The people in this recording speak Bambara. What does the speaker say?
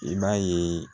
I b'a ye